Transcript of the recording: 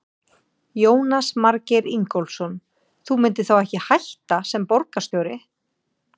Jónas Margeir Ingólfsson: Þú myndir þá ekki hætta sem borgarstjóri?